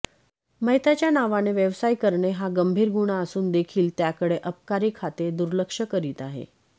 मयताच्या नावाने व्यवसाय करणे हा गंभीर गुन्हा असूनदेखील त्याकडे अबकारी खाते दुर्लक्ष करीत आहे